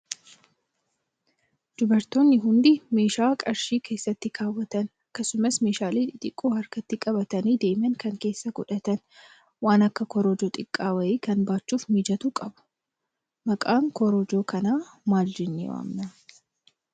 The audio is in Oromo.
Dubartoonni hundi meeshaa qarshii keessa kaawwatan akkasumas kan meeshaalee xixiqoo harkatti qabatanii deeman kan keessa godhatan waan akka korojoo xiqqaa wayii kan baachuuf mijatu qabu. Maqaa korojoo kanaa maal jennee waamnaa?